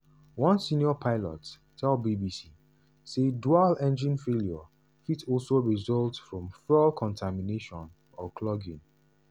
one senior pilot tell bbc say dual engine failure fit also result from fuel contamination or clogging.